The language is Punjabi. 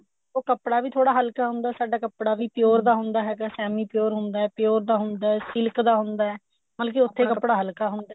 ਉਹ ਕੱਪੜਾ ਵੀ ਥੋੜਾ ਹਲਕਾ ਹੁੰਦਾ or ਸਾਡਾ ਕੱਪੜਾ ਵੀ pure ਦਾ ਹੁੰਦਾ ਹੈਗਾ semi pure ਹੁੰਦਾ pure ਦਾ ਹੁੰਦਾ silk ਦਾ ਹੁੰਦਾ ਮਤਲਬ ਕਿ ਉੱਥੇ ਕੱਪੜਾ ਹਲਕਾ ਹੁੰਦਾ